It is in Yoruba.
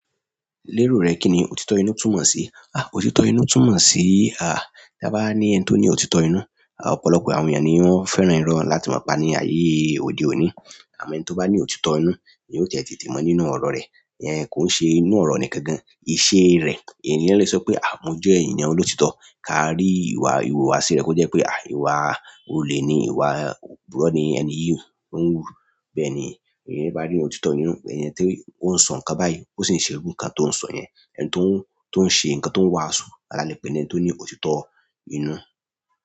Lérò rẹ kí ni òtítọ́ inú túmọ̀ sí? Òtítọ́ inú túmọ̀ sí, táa bá ní ẹni tó ní òtítọ́ inú, ọ̀pọ̀lọpọ̀ àwọn èèyàn ni wọ́n fẹ́ràn irọ́ láti máa pa ní ayé òde òní. Àmọ́ ẹni tó bá ní òtítọ́ inú, ni yóò tètè tímọ́ nínú ọ̀rọ̀ rẹ̀. Kò ń ṣe inú ọ̀rọ̀ nìkan gan-an, ìṣe rẹ̀, ènìyàn lè sọ pé, "Mo jẹ́ ènìyàn olótìítọ," ká rí ìwà ìhùwàsí rẹ̀ kó jẹ́ pé ìwà olè ni, ìwà òpùrọ́ ni, ẹni yìí ó ń hù, bẹ́ẹ̀ni. Ẹni bá rí òtítọ́ inú, pẹ̀lú ẹni tí ó ń sọ̀rọ̀ ká báyìí, ó sì ń ṣe irú nǹkan tó ń sọ yẹn, ẹni tó ń, tó ń ṣe nǹkan tó ń wàásù, alátẹ pé ẹniti ó ní òtítọ́ inú.